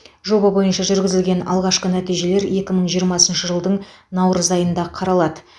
жоба бойынша жүргізілген алғашқы нәтижелер екі мың жиырмасыншы жылдың наурыз айында қаралады